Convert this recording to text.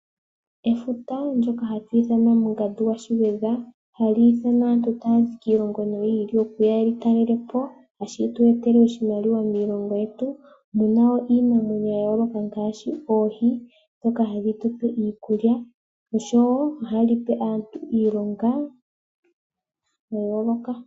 Efuta ndyoka hatu ithana Mungandu gwa sShigwedha, hali ithana aantu tayazi kiilongo yi ili noyi ili okuya yeli talelepo, tashi tu etele oshimaliwa moshilongo shetu, muna iinamwenyo ya yooloka, ngaashi oohi ndhoka hadhi tupe iikulya, oshowo ohali pe aantu iilonga ya yooloka.